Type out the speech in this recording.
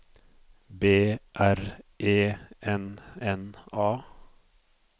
B R E N N A